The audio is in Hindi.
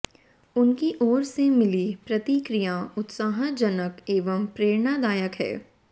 उनकी ओर से मिली प्रतिक्रिया उत्साहजनक एवं प्रेरणादायक है